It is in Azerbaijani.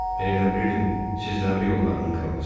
Mən elə bilirdim, siz dəmir yollarının kralısız.